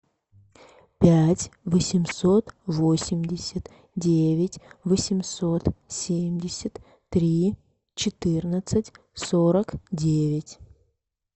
пять восемьсот восемьдесят девять восемьсот семьдесят три четырнадцать сорок девять